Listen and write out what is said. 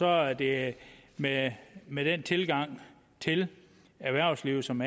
er det med med den tilgang til erhvervslivet som